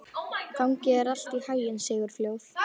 Gangi þér allt í haginn, Sigurfljóð.